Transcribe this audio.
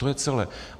To je celé.